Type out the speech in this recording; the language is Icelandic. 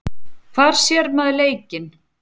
Hvar sér maður leikinn?